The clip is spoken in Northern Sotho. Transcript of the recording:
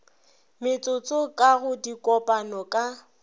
metsotso ka go dikopano ka